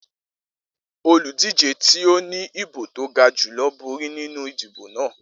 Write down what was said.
Oludije ti o ni ibo to ga julọ bori ninu idibo naa